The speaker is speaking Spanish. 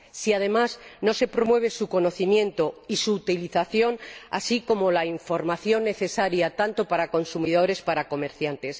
si, además, no se promueve su conocimiento y su utilización, así como el suministro de la información necesaria, tanto para consumidores como para comerciantes